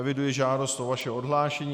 Eviduji žádost o vaše odhlášení.